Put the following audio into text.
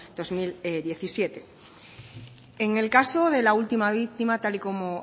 dos mil diecisiete en el caso de la última víctima tal y como